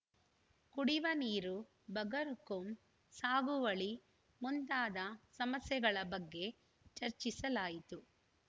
ಕುಡಿವ ನೀರು ಬಗರ್‌ಹುಕುಂ ಸಾಗುವಳಿ ಮುಂತಾದ ಸಮಸ್ಯೆಗಳ ಬಗ್ಗೆ ಚರ್ಚಿಸಲಾಯಿತು